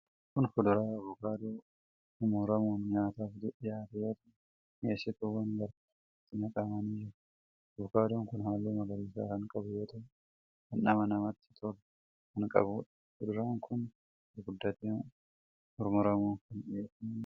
Kun fuduraa avokaadoo mummuramuun nyaataaf dhiyaate yoo ta'u, mi'eessituuwwan garaa garaa itti naqamanii jiru. avokaadoon kun halluu magariisa kan qabu yoo ta'u dhandhama namatti tolu kan qabuudha. Fuduraan kun gurguddatee muramuun kan dhiyeeffameedha.